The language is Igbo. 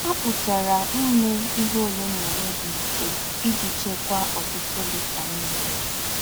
À pùtàrà íme íhe òlè na òlè dị̀ mfè íjí chékwàá ọ̀tùtù lítà ḿmị́rì.